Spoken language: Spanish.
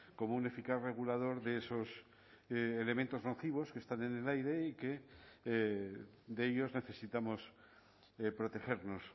como un eficaz regulador de esos elementos nocivos que están en el aire y que de ellos necesitamos protegernos